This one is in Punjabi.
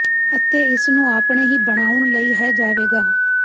ਅਤੇ ਇਸ ਨੂੰ ਆਪਣੇ ਹੀ ਬਣਾਉਣ ਲਈ ਹੈ ਜਾਵੇਗਾ